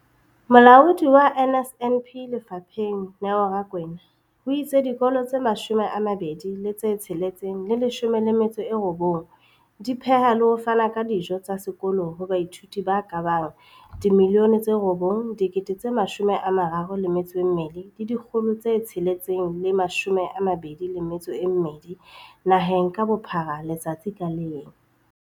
Molaodi wa NSNP lefapheng, Neo Rakwena, o itse dikolo tse 20 619 di pheha le ho fana ka dijo tsa sekolo ho baithuti ba ka bang 9 032 622 naheng ka bophara letsatsi ka leng.